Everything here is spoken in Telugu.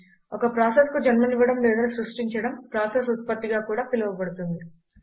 ఒక ప్రాసెస్కు జన్మనివ్వడం లేదా సృష్టించడం ప్రాసెస్ ఉత్పత్తిగా కూడా పిలువబడుతుంది